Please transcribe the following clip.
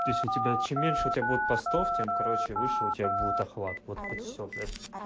то есть у тебя чем меньше у тебя будет постов тем короче вышел у тебя будет охват вот и все блять